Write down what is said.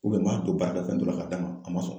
n b'a don baarada fɛn dɔ la ka d'a ma a ma sɔn